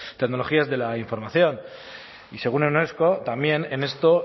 tecnologías de la información y según unesco también en esto